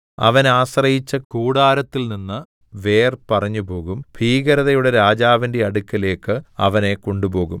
അവൻ ആശ്രയിച്ച കൂടാരത്തിൽനിന്ന് വേർ പറിഞ്ഞുപോകും ഭീകരതയുടെ രാജാവിന്റെ അടുക്കലേക്ക് അവനെ കൊണ്ടുപോകും